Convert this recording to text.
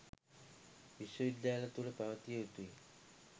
විශ්ව විද්‍යාල තුළ පැවතිය යුතුයි.